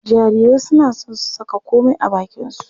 Jarirai suna son su saka komai a bakinsu.